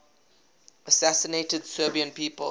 assassinated serbian people